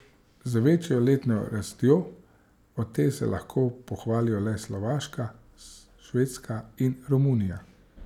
Z večjo letno rastjo od te se lahko pohvalijo le Slovaška, Švedska in Romunija.